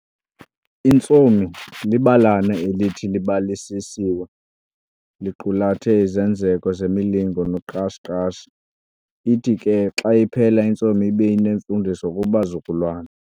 Intsomi libalana elithi libalisiswe liqulathe izenzeko zemilingo noqashi qashi. Ithi ke xa iphela intsomi ibe inemfundiso kubazukulwana.